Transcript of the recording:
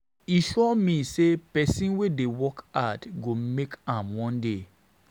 E sure me sey pesin wey dey work hard go make am one day.